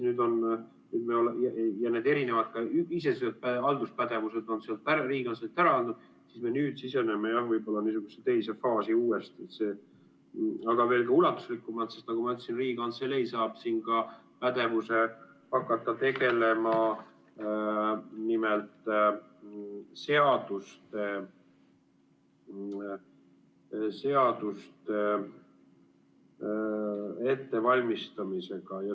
Need erinevad iseseisvad halduspädevused on Riigikantseleilt ära antud, me nüüd siseneme võib-olla niisugusesse teise faasi uuesti, aga veelgi ulatuslikumalt, sest nagu ma ütlesin, Riigikantselei saab siin ka pädevuse hakata tegelema seaduste ettevalmistamisega.